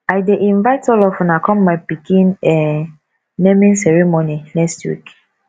i dey invite all of una come my pikin um naming ceremony next week